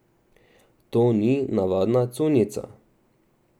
To ni navadna cunjica.